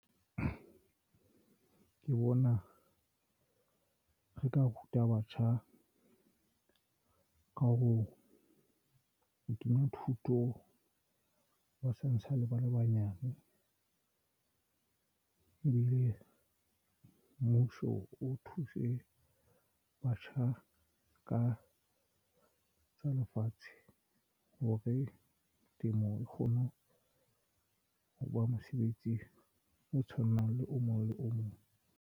Ke bona re ka ruta batjha ka ho o kenya thuto ba santsane ba le banyane ebile mmuso o thuse batjha ka tsa lefatshe hore temo e kgone ho ho ba mosebetsi o tshwanang le o mong le o mong.